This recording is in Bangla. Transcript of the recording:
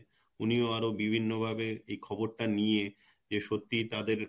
উনিও আরও বিভিন্ন ভাবে এই খবর টা নিয়ে যে সত্যিই তাদের